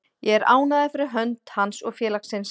Ég er ánægður fyrir hönd hans og félagsins.